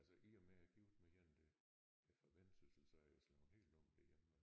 Altså i og med jeg gift med en der er fra Vendsyssel så er jeg slået helt om derhjemme